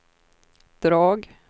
drag